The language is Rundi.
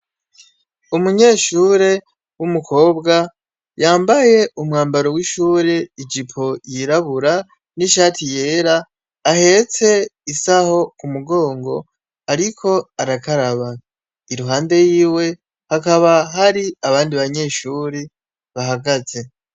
Umunyeshure w'umukobwa yambaye umwambaro w'ishuri ijipo yirabura n'ishati yeera. Ahetse isaho ku mugongo, ariko arakaraba, iruhande yiwe hakaba hari abandi banyeshuri bahagaze.